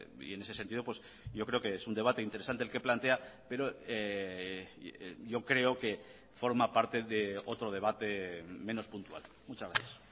y en ese sentido yo creo que es un debate interesante el que plantea pero yo creo que forma parte de otro debate menos puntual muchas gracias